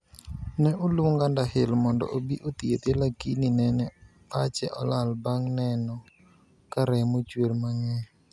Ne oluong Underhill mondo obi othiedhe lakini nene pache olal bang' neno ka remo chwer mang'eny.